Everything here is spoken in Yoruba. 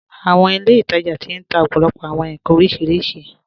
Àwọn ilẹ̀-itaja ti n tà òpó̩lópó̩ àwọn nkàn orísiríṣí.